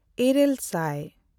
ᱤᱨᱟᱹᱞᱼᱥᱟᱭ